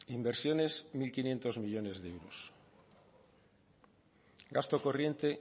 inversiones mil quinientos millónes de euros gasto corriente